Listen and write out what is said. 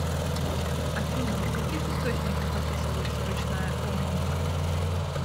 афина в каких источниках описывается ручная гармоника